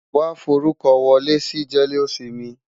Wàá forúkọ wọlé sí jẹ́lósinmi!